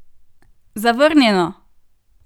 Zavrnjeno!